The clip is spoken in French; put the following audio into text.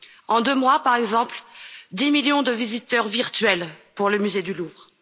En deux mois, par exemple, 10 millions de visiteurs virtuels pour le musée du Louvre.